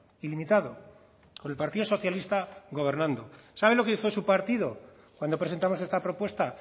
ilimitado con el partido socialista gobernando sabe lo que hizo su partido cuando presentamos esta propuesta